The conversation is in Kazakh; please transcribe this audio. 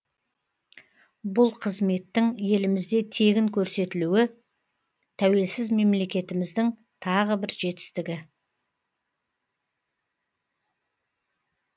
бұл қызметтің елімізде тегін көрсетілуі тәуелсіз мемлекетіміздің тағы бір жетістігі